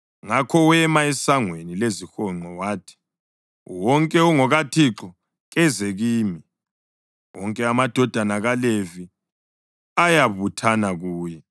Ngakho wema esangweni lezihonqo wathi, “Wonke ongokaThixo, keze kimi.” Wonke amadodana kaLevi ayabuthana kuye.